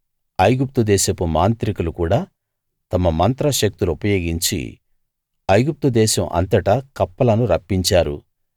ఐగుప్తు దేశపు మాంత్రికులు కూడా తమ మంత్ర శక్తులు ఉపయోగించి ఐగుప్తు దేశం అంతటా కప్పలను రప్పించారు